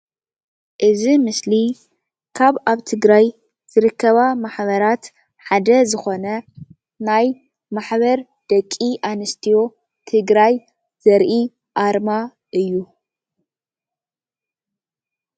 እዚ ምስሊ ካብ ኣብ ትግራይ ዝርከባ ማሕበራት ሓደ ዝኮነ ናይ ማሕበር ደቂ አንስትዮ ትግራይ ዘርኢ ኣርማ እዩ፡፡